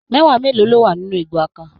Mẹwa mélòó lọ wá nínú igba kan?